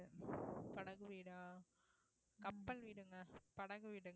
படகு வீடா கப்பல் வீடுங்க